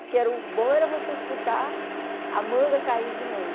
Porque era o bom era você escutar a manga cair de noite.